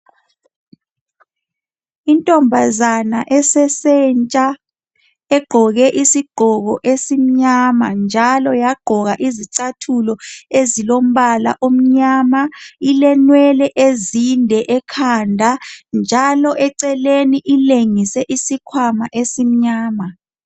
Intombazana esesentsha egqoke isigqoko esimnyama njalo wagqoka izicathulo ezilombala omnyama, ilenwele ezinde ekhanda njalo eceleni ilengise isikhwama esimnyama.